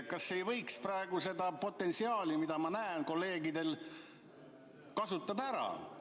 Kas ei võiks praegu seda potentsiaali, mida ma näen kolleegidel, ära kasutada?